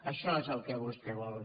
això és el que vostè vol